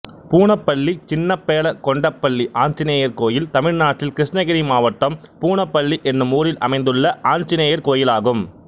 பூனப்பள்ளி சின்ன பேள கொண்டப்பள்ளி ஆஞ்சநேயர் கோயில் தமிழ்நாட்டில் கிருஷ்ணகிரி மாவட்டம் பூனப்பள்ளி என்னும் ஊரில் அமைந்துள்ள ஆஞ்சநேயர் கோயிலாகும்